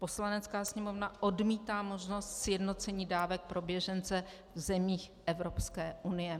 Poslanecká sněmovna odmítá možnost sjednocení dávek pro běžence v zemích Evropské unie.